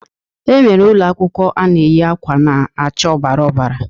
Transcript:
E nwere ụlọ akwụkwọ na-eyi akwa na-acha ọbara ọbara.